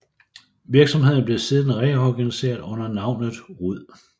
Virksomheden blev siden reorganiseret under navnet Rud